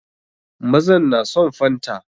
Mazan na son fanta.